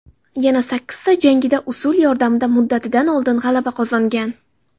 Yana sakkizta jangida usul yordamida muddatidan oldin g‘alaba qozongan.